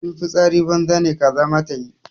In fitsari banza ne kaza ma tayi.